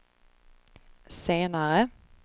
senare